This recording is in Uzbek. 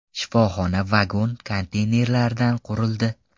Shifoxona vagon-konteynerlardan qurildi.